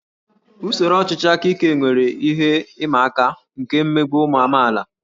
Usoro ọchịchị aka ike nwere ihe ịma aka nke mmegbu ụmụ amaala